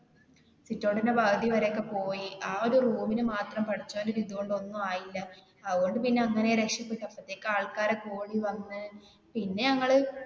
sitout ന്റെ പാതി വരെ ഒക്കെ പോയി, ആ ഒരു room ല് മാത്രം പടച്ചോന്റെ വിധി കൊണ്ട് ഒന്നും ആയില്ല അതുകൊണ്ട് പിന്നെ അങ്ങനെ രക്ഷപെട്ട് പിന്നെ ആൾക്കാരൊക്കെ ഓടി വന്ന് പിന്നെ ഞങ്ങള്.